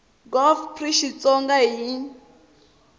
gov pri xitsonga hl p